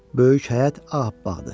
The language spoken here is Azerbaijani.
Böyük həyət ağappaqdır.